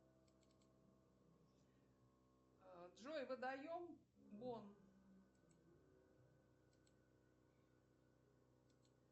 джой водоем бон